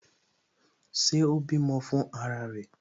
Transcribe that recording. Ṣé o bímọ fún ara rẹ?